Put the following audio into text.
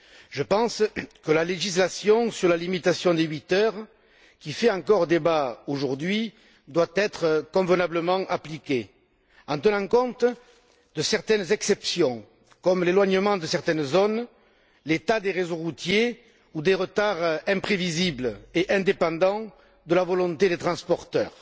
Je pense que la législation sur la limitation des huit heures, qui fait encore débat aujourd'hui, doit être convenablement appliquée, en tenant compte de certaines exceptions, comme l'éloignement de certaines zones, l'état des réseaux routiers ou la persistance de retards imprévisibles et indépendants de la volonté des transporteurs.